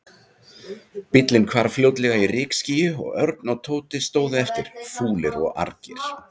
Bíllinn hvarf fljótlega í rykskýi og Örn og Tóti stóðu eftir, fúlir og argir.